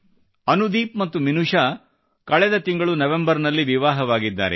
ಅನುದೀಪ್ ಮತ್ತು ಮಿನುಷಾ ಅವರು ಕಳೆದ ತಿಂಗಳು ನವೆಂಬರ್ ನಲ್ಲಿ ವಿವಾಹವಾಗಿದ್ದಾರೆ